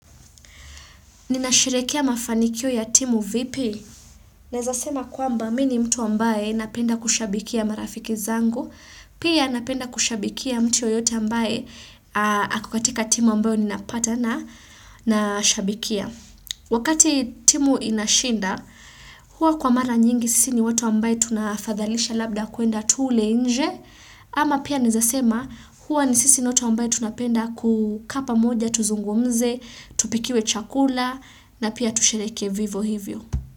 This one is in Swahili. Ninasherekea mafanikio ya timu vipi. Nezasema kwamba mini mtu ambaye napenda kushabikia marafiki zangu. Pia napenda kushabikia mtu yoyote ambaye akokatika timu ambayo ninapatana nashabikia. Wakati timu inashinda, huwa kwa mara nyingi sisi ni watu ambaye tunafadhalisha labda kuenda tuule nje. Ama pia naezasema huwa ni sisi watu ambae tunapenda kukaapa moja, tuzungumze, tupikiwe chakula na pia tusherekee vivo hivyo.